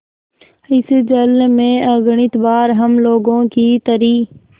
इस जल में अगणित बार हम लोगों की तरी